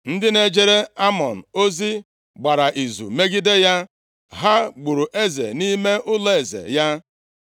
Ndị na-ejere Amọn ozi gbara izu megide ya, ha gburu eze nʼime ụlọeze ya.